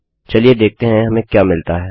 चलिए देखते हैं हमें क्या मिलता है